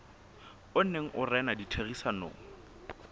o neng o rena ditherisanong